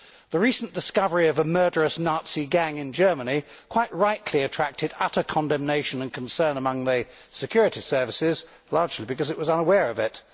The recent discovery of a murderous Nazi gang in Germany quite rightly attracted utter condemnation and concern among the security services, largely because they were unaware of it.